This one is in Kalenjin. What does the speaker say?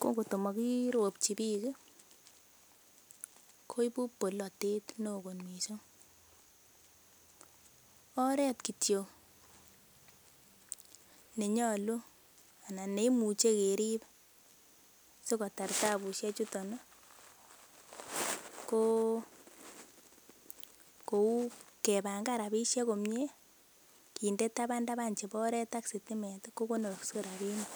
ko kotomokiropchi biik koibu bolotet neo kot mising. Oret kityo nenyolu anan neimuche kerib sikotar tabusiekchuton ko kou kebangan rabishek komye kinde taban taban chebo sitimet ak oret ko konorse rabinik.